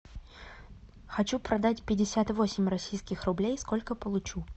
хочу продать пятьдесят восемь российских рублей сколько получу